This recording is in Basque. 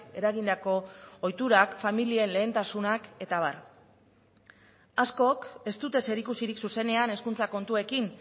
eragindako ohiturak familien lehentasunak eta abar askok ez dute zerikusirik zuzenean hezkuntza kontuekin